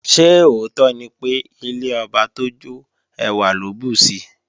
Ṣé òótọ́ ni pé, ilé ọba tó jọ́ ẹwà ló bùsi?